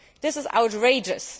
This is outrageous.